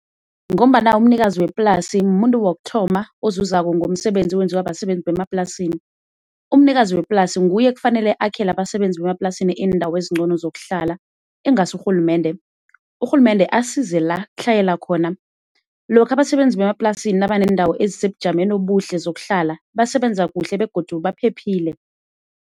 Ngombana umnikazi weplasi mumuntu wokuthoma ozuzako ngomsebenzi owenziwa basebenzi bemaplasini. Umnikazi weplasi nguye ekufanele akhele abasebenzi bemaplasini iindawo ezincono zokuhlala ingasi urhulumende, urhulumende asize la kutlhayela khona. Lokha abasebenzi bemaplasini nabaneendawo ezisebujameni obuhle zokuhlala basebenza kuhle begodu baphephile.